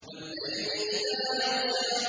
وَاللَّيْلِ إِذَا يَغْشَىٰ